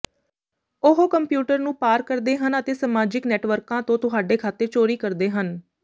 ਉਹ ਕੰਪਿਊਟਰ ਨੂੰ ਪਾਰ ਕਰਦੇ ਹਨ ਅਤੇ ਸਮਾਜਿਕ ਨੈਟਵਰਕਾਂ ਤੋਂ ਤੁਹਾਡੇ ਖਾਤੇ ਚੋਰੀ ਕਰਦੇ ਹਨ